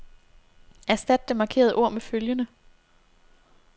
Erstat det markerede ord med følgende.